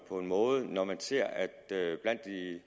på en måde når man ser at det